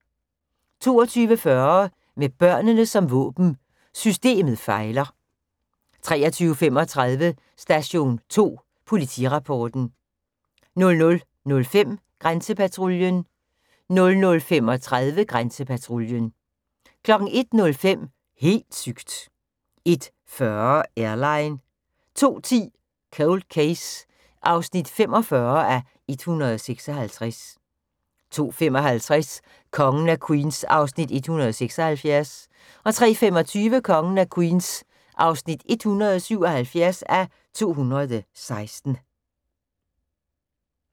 22:40: Med børnene som våben – systemet fejler 23:35: Station 2 Politirapporten 00:05: Grænsepatruljen 00:35: Grænsepatruljen 01:05: Helt sygt! 01:40: Airline 02:10: Cold Case (45:156) 02:55: Kongen af Queens (176:216) 03:25: Kongen af Queens (177:216)